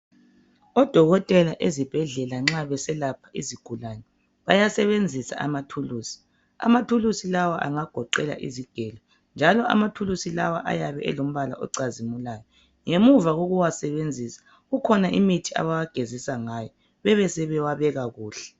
Odokotela ezibhedlela nxa beselapha izigulane bayasebenzisa ama thulusi amathulusi lawa angagoqela izigelo njalo amathulusi lawa ayabe elombala ocazimulayo ngemuva kokuwasebenzisa kukhona imithi abawagezisa ngayo besebewabeka kuhle.